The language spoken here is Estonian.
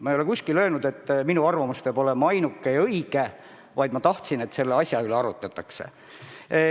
Ma ei ole kuskil öelnud, et minu arvamus on see ainuke õige, vaid ma tahtsin, et selle asja üle arutletakse.